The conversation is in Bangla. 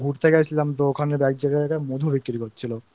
ঘুরতে গেছিলাম তো ওখানে এক জায়গায় মধু বিক্রি করছিল